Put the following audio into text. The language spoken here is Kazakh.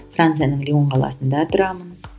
францияның лион қаласында тұрамын